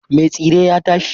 Me tsire ya tashi.